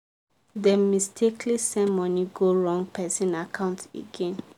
dem mistakenly send money go wrong person account again.